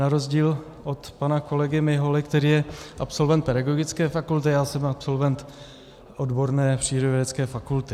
Na rozdíl od pana kolegy Miholy, který je absolventem pedagogické fakulty, já jsem absolventem odborné přírodovědecké fakulty.